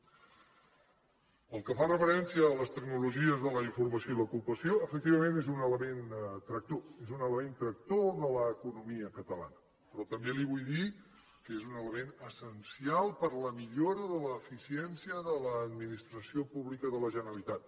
pel que fa referència a les tecnologies de la informació i l’ocupació efectivament és un element tractor és un element tractor de l’economia catalana però també li vull dir que és un element essencial per a la millora de l’eficiència de l’administració pública de la generalitat